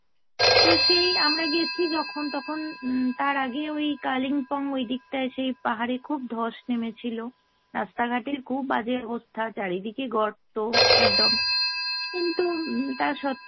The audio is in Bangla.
তো সেই আমরা গেছি যখন তখন উম তার আগে ওই কালিম্পং ওই দিকটায় সেই পাহাড়ে খুব ধস নেমেছিলো। রাস্তা ঘাটের খুব বাজে অবস্থা, চারিদিকে গর্ত একদম। কিন্তু উম তা সত্ত্বেও